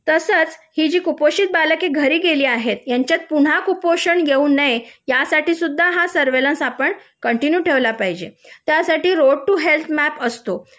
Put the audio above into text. तसंच ही जी कुपोषित बालके घरी गेली आहेत यांच्यात पुन्हा कुपोषण येऊ नये यासाठी सुद्धा आपण सर्वेलॅन्स आपण कंटिन्यू ठेवला पाहिजे त्यासाठी रोड टू हेल्थ मॅप असतो